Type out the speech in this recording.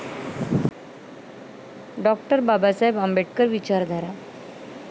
डॉ. बाबासाहेब आंबेडकर विचारधारा